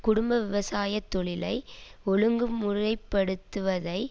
குடும்ப விவசாய தொழிலை ஒழுங்குமுறைப்படுத்துவதை